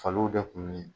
Faliw bɛ kun min